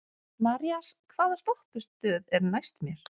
Marías, hvaða stoppistöð er næst mér?